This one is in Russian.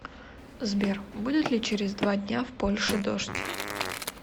сбер будет ли через два дня в польше дождь